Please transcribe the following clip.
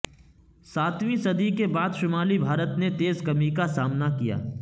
ساتویں صدی کے بعد شمالی بھارت نے تیز کمی کا سامنا کیا